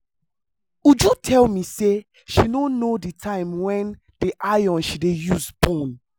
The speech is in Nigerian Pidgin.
uju tell me say she no know the time wen the iron she dey use burn